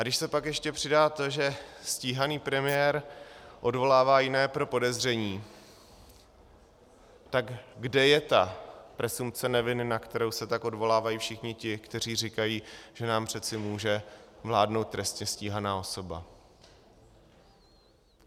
A když se pak ještě přidá to, že stíhaný premiér odvolává jiné pro podezření, tak kde je ta presumpce neviny, na kterou se tak odvolávají všichni ti, kteří říkají, že nám přece může vládnout trestně stíhaná osoba?